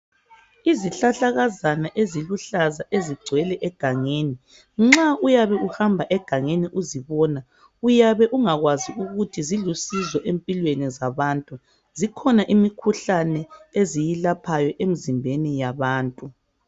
Izihlahlakazana eziluhlaza ezigwele egangeni, nxa uyabe uhambe egangeni uzibona uyabe ungakwazi ukuthi zilusizo empilweni zabantu .Zikhona imikhuhlane eziilaphayo emzimbeni yabantu.